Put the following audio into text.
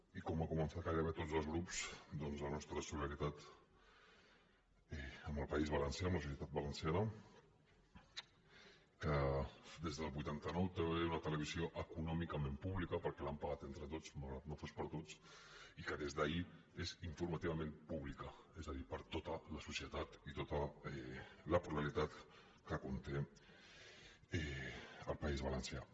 i com han començat gairebé tots els grups doncs la nostra solidaritat amb el país valencià amb la societat valenciana que des del vuitanta nou té una televisió econòmicament pública perquè l’han pagat entre tots malgrat que no fos per a tots i que des d’ahir és informativament pública és a dir per a to ta la societat i tota la pluralitat que conté el país valencià